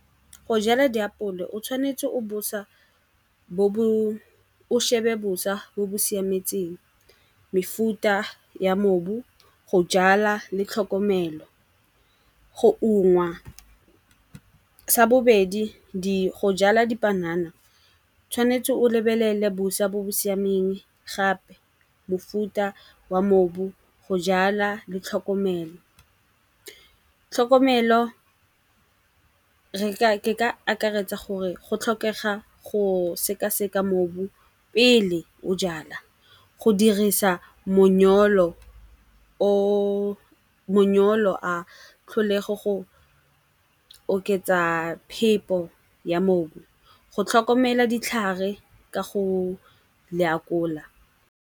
Go jala diapole o tshwanetse o bosa bo bo o shebe bosa bo bo siametseng, mefuta ya mobu, go jala le tlhokomelo go ungwa. Sa bobedi go jala dipanana tshwanetse o lebelele bosa bo bo siameng gape mofuta wa mobu, go jalwa le tlhokomelo. Tlhokomelo ke ka akaretsa gore go tlhokega go sekaseka mobu pele o jala. Go dirisa monyolo a tlholego go oketsa phepo ya mobu, go tlhokomela ditlhare ka go lakola.